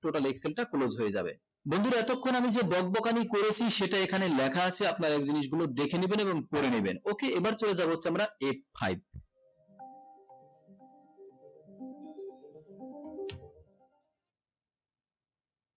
total excel টা close হয়ে যাবে বন্ধুরা এতক্ষন আমি বকবকানি করেছি সেটা এখানে লেখা আছে আপনারা এই জিনিস গুলো দেখে নেবেন এবং পরে নেবেন okay এবার চলে যাবো হচ্ছে আমরা f five